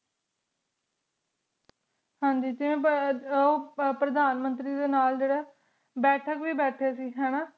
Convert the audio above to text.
ਹਾਂਜੀ ਓਹ ਪ੍ਰਦਾਨ ਮੰਤਰੀ ਦੇ ਨਾਲ ਜੇਰੀ ਬੇਥਾਕ ਵੇ ਬੇਠੀ ਸੇ ਹੈਨਾ